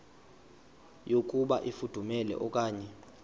yokuba ifudumele okanye